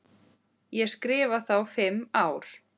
Ég skrifa þá fimm ár.